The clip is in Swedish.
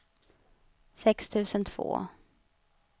sex tusen två